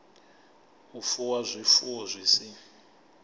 u fuwa zwifuwo zwi si